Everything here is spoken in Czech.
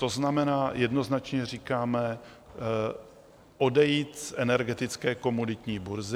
To znamená, jednoznačně říkáme: odejít z energetické komoditní burzy.